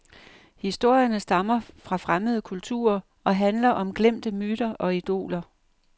Historierne stammer fra fremmede kulturer og handler om glemte myter og idoler.